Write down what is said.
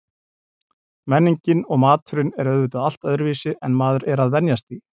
Menningin og maturinn er auðvitað allt öðruvísi en maður er að venjast því.